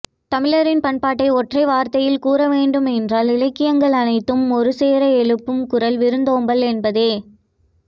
தமிழரின் பண்பாட்டை ஒற்றை வார்த்தையில் கூற வேண்டும் என்றால் இலக்கியங்கள் அனைத்தும் ஒரு சேர எழுப்பும் குரல் விருந்தோம்பல் என்பதே